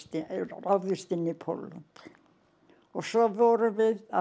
ráðist inn í Pólland og svo vorum við að